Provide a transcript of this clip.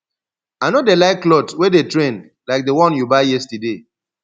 i no dey like cloth wey dey trend like the one you buy yesterday